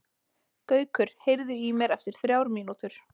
Gaukur, heyrðu í mér eftir þrjár mínútur.